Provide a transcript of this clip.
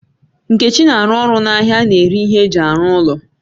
Nkechi na aru oru na ahia a na-ere ihe eji aru ulo